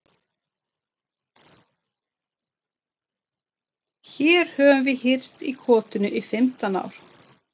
Hér höfum við hírst í kotinu í fimmtán ár.